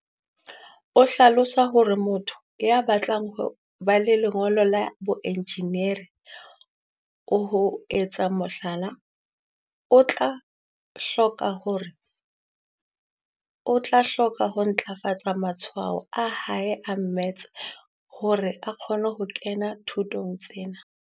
O hlalosa hore motho ya batlang ho ba le lengolo la boenjineri, ho etsa mohlala, o tla hloka ho ntlafatsa matshwao a hae a mmetse hore a kgone ho kena thutong ena.